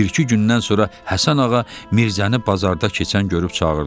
Bir-iki gündən sonra Həsən ağa Mirzəni bazarda keçən görüb çağırdı.